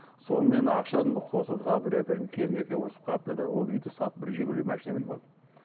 сонымен ақшаны қосып бір үй әпердім келін екеуі ұрысып қалыпты да ол үйді сатып бір жигули машина мініп алдым